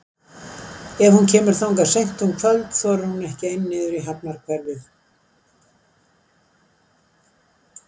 Er hún kemur þangað seint um kvöld þorir hún ekki ein niður í hafnarhverfið.